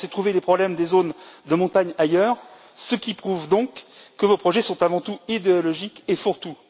Je pensais trouver les problèmes des zones de montagne ailleurs, ce qui prouve que vos projets sont avant tout idéologiques et fourre tout.